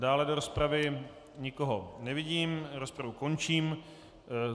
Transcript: Dále do rozpravy nikoho nevidím, rozpravu končím.